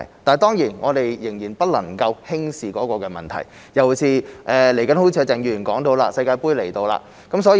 當然，我們仍然不能夠輕視問題，尤其是正如鄭議員所說，世界盃將至。